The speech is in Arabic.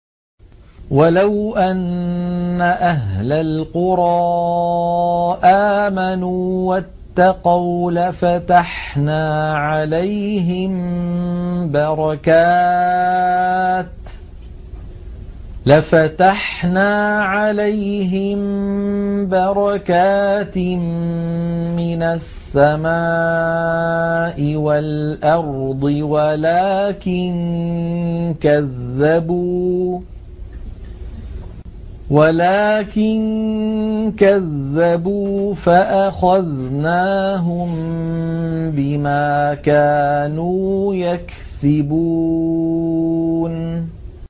وَلَوْ أَنَّ أَهْلَ الْقُرَىٰ آمَنُوا وَاتَّقَوْا لَفَتَحْنَا عَلَيْهِم بَرَكَاتٍ مِّنَ السَّمَاءِ وَالْأَرْضِ وَلَٰكِن كَذَّبُوا فَأَخَذْنَاهُم بِمَا كَانُوا يَكْسِبُونَ